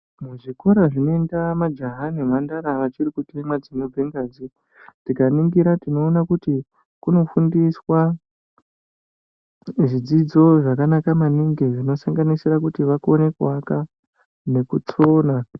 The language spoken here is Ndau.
muzvikora zvinoenda majaha nemhandara vachiri kutemwa dzinobve ngazi. Tikaningira tinoona kuti kuno fundiswa zvidzidzo zvakanaka maningi zvinosanganisira kuti vakone kuvaka nekusona.